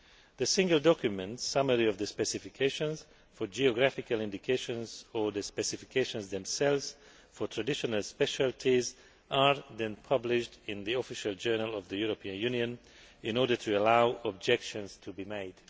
The single document summary of the specifications for geographical indications or the specifications themselves for traditional specialties are then published in the Official Journal of the European Union in order to allow objections to be made.